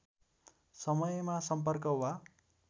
समयमा सम्पर्क वा